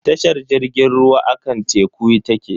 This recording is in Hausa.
Tashar jirgin ruwa akan teku take.